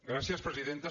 gràcies presidenta